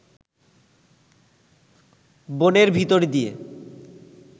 বনের ভিতর দিয়ে